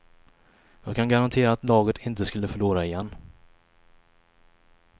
Jag kan garantera att laget inte skulle förlora igen.